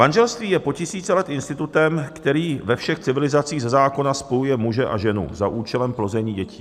Manželství je po tisíce let institutem, který ve všech civilizacích ze zákona spojuje muže a ženu za účelem plození dětí.